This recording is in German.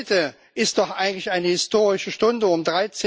Heute ist doch eigentlich eine historische Stunde Um